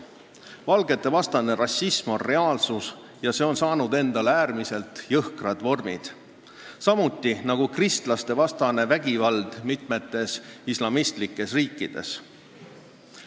Valgetevastane rassism on reaalsus ja see on võtnud äärmiselt jõhkrad vormid, samuti nagu kristlastevastane vägivald mitmetes islamistlikes riikides.